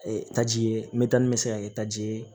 taji ye mɛtan bɛ se ka kɛ taji ye